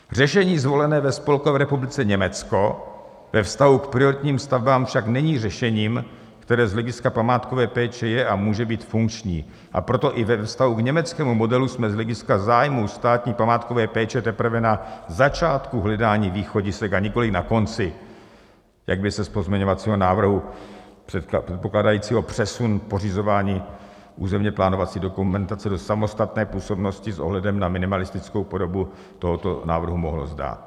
Řešení zvolené ve Spolkové republice Německo ve vztahu k prioritním stavbám však není řešením, které z hlediska památkové péče je a může být funkční, a proto i ve vztahu k německému modelu jsme z hlediska zájmů státní památkové péče teprve na začátku hledání východisek, a nikoli na konci, jak by se z pozměňovacího návrhu, předpokládajícího přesun pořizování územně plánovací dokumentace do samostatné působnosti s ohledem na minimalistickou podobu tohoto návrhu mohlo zdát.